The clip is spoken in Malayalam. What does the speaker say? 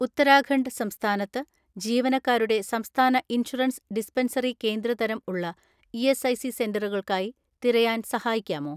"ഉത്തരാഖണ്ഡ് സംസ്ഥാനത്ത് ജീവനക്കാരുടെ സംസ്ഥാന ഇൻഷുറൻസ് ഡിസ്പെൻസറി കേന്ദ്ര തരം ഉള്ള ഇ.എസ്.ഐ.സി സെന്ററുകൾക്കായി തിരയാൻ സഹായിക്കാമോ?"